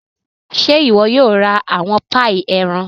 Ṣe iwọ yóò ra awọn paii ẹran?